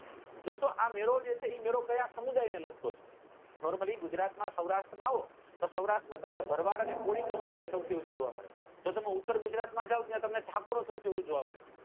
દોસ્તો આ મેળો જે છે એ મેળો કયા સમુદાય ને લાગતો છે normally ગુજરાત માં સૌરાષ્ટ્ર માં આવો તો સૌરાષ્ટ્ર માં તમને ભરવાડ અને કોળી community સૌથી વધુ જોવા મળે જો તમે ઉત્તર ગુજરાત માં જાઓ તો ત્યાં તમને ઠાકોરો સૌથી વધુ જોવા મળે